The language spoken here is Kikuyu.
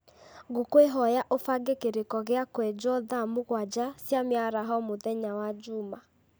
ngũkwĩhoya ũbange kĩrĩko gĩa kwenjwo thaa mũgwanja cia mĩaraho mũthenya wa njuma